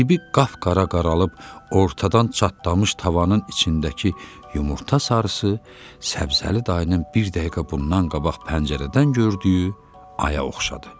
Dibi qapqara qaralıb, ortadan çatlamış tavanın içindəki yumurta sarısı Səbzəli dayının bir dəqiqə bundan qabaq pəncərədən gördüyü aya oxşadı.